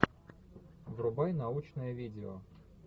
врубай научное видео